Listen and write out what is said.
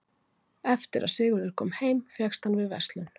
eftir að sigurður kom heim fékkst hann við verslun